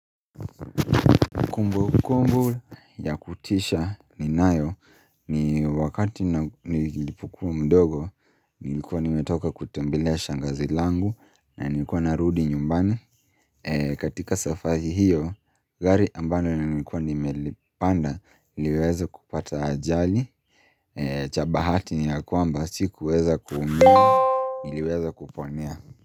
Kumbukumbu ya kutisha ninayo ni wakati nilipokuwa mdogo, nilikuwa nimetoka kutembelea shangazi langu na nilikuwa narudi nyumbani katika safari hiyo gari ambalo nilikuwa nimelipanda iliweza kupata ajali cha bahati ni ya kwamba sikuweza kuumia niliweza kuponea.